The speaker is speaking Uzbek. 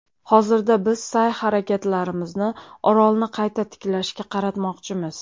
Hozirda biz sa’y-harakatlarimizni orolni qayta tiklashga qaratmoqchimiz”.